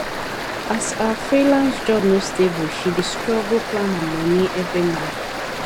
as her freelance job no stable she dey struggle plan her money every month